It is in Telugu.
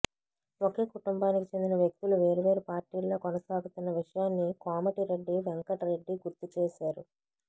ఒకే కుటుంబానికి చెందిన వ్యక్తులు వేర్వేరు పార్టీల్లో కొనసాగుతున్న విషయాన్ని కోమటిరెడ్డి వెంకట్ రెడ్డి గుర్తు చేశారు